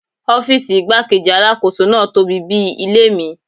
Ọ́fíìsì igbá-kejì Alákóso náà tóbi bí i ilé mi.